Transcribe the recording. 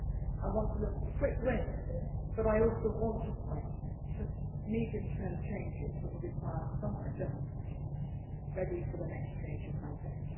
I want to look for quick wins, but I also want to point to medium term changes that will require some adjustment ready for the next change of mandate.